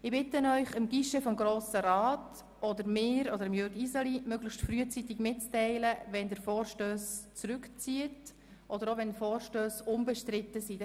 Ich bitte Sie zudem, dem Guichet des Grossen Rats, mir oder Jürg Iseli möglichst frühzeitig mitzuteilen, wenn Sie Vorstösse zurückziehen, oder auch, wenn Vorstösse unbestritten sind.